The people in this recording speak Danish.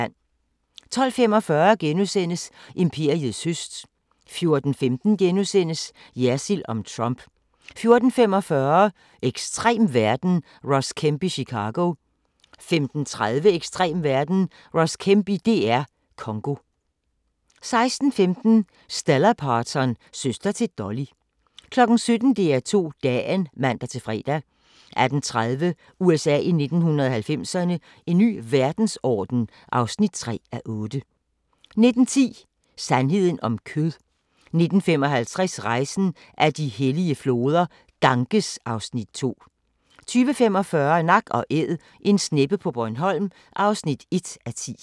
12:45: Imperiets høst * 14:15: Jersild om Trump * 14:45: Ekstrem verden – Ross Kemp i Chicago 15:30: Ekstrem verden – Ross Kemp i DR Congo 16:15: Stella Parton – søster til Dolly 17:00: DR2 Dagen (man-fre) 18:30: USA i 1990'erne – En ny verdensorden (3:8) 19:10: Sandheden om kød 19:55: Rejsen ad de hellige floder - Ganges (Afs. 2) 20:45: Nak & Æd – en sneppe på Bornholm (1:10)